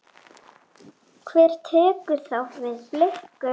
Hver tekur þá við Blikum?